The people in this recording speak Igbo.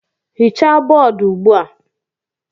Hichaa bọọdụ ugbu a!